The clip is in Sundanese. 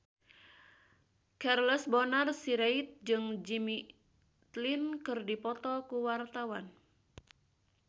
Charles Bonar Sirait jeung Jimmy Lin keur dipoto ku wartawan